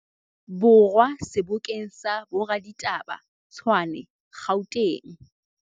Borwa sebokeng sa boraditaba, Tshwane, Gauteng.